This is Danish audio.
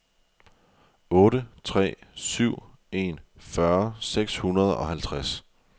otte tre syv en fyrre seks hundrede og halvtreds